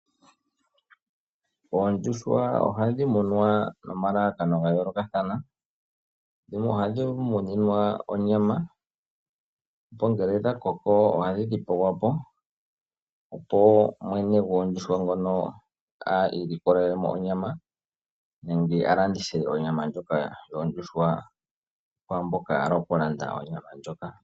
Aanimuna ohaya tekula oondjuhwa opo ya mone onyama osho wo omayi. Ohaya vulu okulanditha onyama ndjika, nenge omayi, sho shi li hashi eta iiyemo iiwanawa. Iikulya mbika oyina uundjolowele wo.